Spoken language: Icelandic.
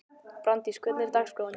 Brandís, hvernig er dagskráin?